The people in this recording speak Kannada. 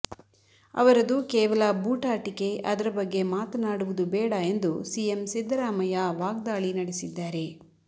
ಅವರದು ಕೇವಲ ಬೂಟಾಟಿಕೆ ಅದರ ಬಗ್ಗೆ ಮಾತನಾಡುವುದು ಬೇಡ ಎಂದು ಸಿಎಂ ಸಿದ್ದರಾಮಯ್ಯ ವಾಗ್ದಾಳಿ ನಡೆಸಿದ್ದಾರೆ